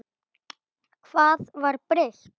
Hvað var breytt?